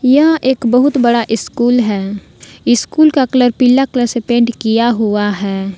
यह एक बहुत बड़ा स्कूल है स्कूल का कलर पीला कलर से पेंट किया हुआ है।